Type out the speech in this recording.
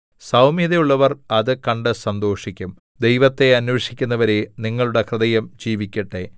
സൗമ്യതയുള്ളവർ അത് കണ്ട് സന്തോഷിക്കും ദൈവത്തെ അന്വേഷിക്കുന്നവരേ നിങ്ങളുടെ ഹൃദയം ജീവിക്കട്ടെ